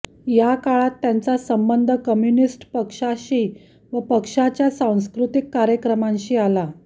या काळात त्यांचा संबंध कम्युनिस्ट पक्षाशी व पक्षाच्या सांस्कृतिक कार्यक्रमांशी आला